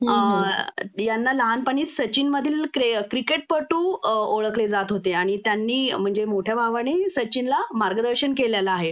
अ यांना लहानपणी सचिन मधील क्रिकेटपटू ओळखले जात होते आणि त्यांनी म्हणजे मोट्या भावांनी सचिनला मार्गदर्शन केलेलं आहे